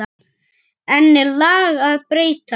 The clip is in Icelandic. Enn er lag að breyta.